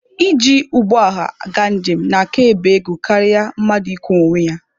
Iji ụgbọ ọha gaa njem na-aka ebe ego karịa mmadụ ịkwọ onwe ya.